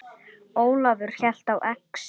Ólafur hélt á exi.